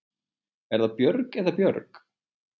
Er það Björg eða Björg?